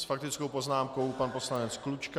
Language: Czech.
S faktickou poznámkou pan poslanec Klučka.